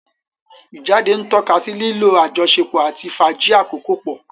Ijáde ntọkasí lilo àjọsọpọ ati fàájì akoko pọ.